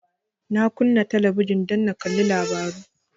Na kunna talabijin don in kalli labaru